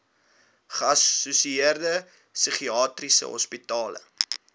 geassosieerde psigiatriese hospitale